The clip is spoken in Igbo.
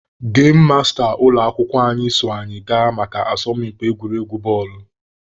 Gem masta ụlọ akwụkwọ anyị so anyị gaa maka asọmpi egwuregwu bọọlụ.